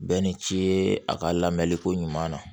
Bɛɛ ni ci ye a ka lamɛli ko ɲuman na